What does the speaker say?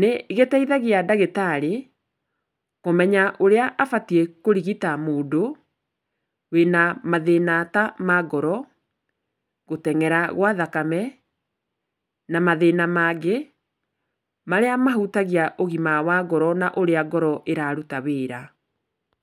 nĩgĩteithagia ndagĩtarĩ kũmenya ũrĩa abatiĩ kũrigita mũndũ wĩna mathĩna ta ma ngoro, gũteng'era gwa thakame na mathĩna mangĩ marĩa mahutagia ũgima wa ngoro na ũrĩa ngoro iraruta wĩra.